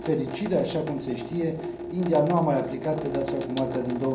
Din fericire, așa cum se știe, India nu a mai aplicat pedeapsa cu moartea din